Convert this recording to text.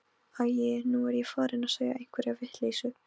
Æi, nú er ég farin að segja einhverja vitleysu.